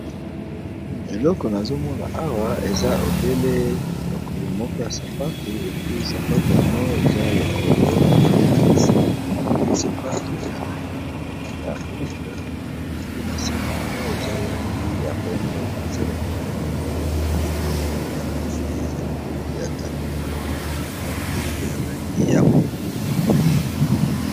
Eloko na zomona awa eza obele lokolo moko ya sapatu lepi sapatu yama eza lokolo ya sisapatu ya langi ya uke epi na se na mwa eza langi ya pembe eza lokolo moko ya sapatu ya pasi eza likolo ya tapi ya langi ya mindu mpe pembe.